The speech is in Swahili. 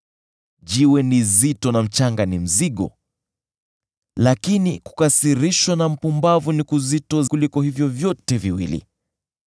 Jiwe ni zito na mchanga ni mzigo, lakini kukasirishwa na mpumbavu ni kuzito kuliko vyote viwili.